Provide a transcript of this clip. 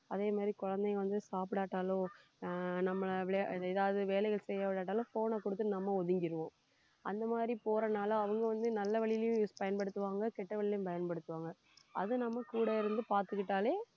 அதே மாதிரி குழந்தைங்க வந்து சாப்பிடாட்டாலோ ஆஹ் நம்மளை விளையா~ ஏதாவது வேலைகள் செய்யவிடாட்டாலும் phone ஐ கொடுத்து நம்ம ஒதுங்கிருவோம் அந்த மாதிரி போறதுனால அவங்க வந்து நல்ல வழியிலும் use பயன்படுத்துவாங்க கெட்ட வழியிலும் பயன்படுத்துவாங்க அதை நம்ம கூட இருந்து பார்த்துக்கிட்டாலே